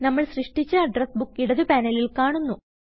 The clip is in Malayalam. നമ്മൾ സൃഷ്ടിച്ച അഡ്രസ് ബുക്ക് ഇടത് പാനലിൽ കാണുന്നു